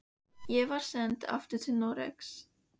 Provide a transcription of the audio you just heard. Ég var send aftur til Noregs.